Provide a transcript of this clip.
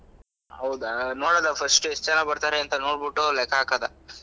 ಹೌದಾ ನೋಡೊದ first ಎಷ್ಟು ಜನ ಬರ್ತರೆ ಅಂತಾ ನೋಡ್ಬಿಟ್ಟು ಲೆಕ್ಕಾ ಹಾಕೋದಾ.